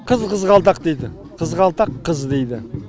қыз қызғалдақ дейді қызғалдақ қыз дейді